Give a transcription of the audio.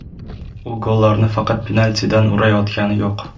U gollarni faqat penaltidan urayotgani yo‘q.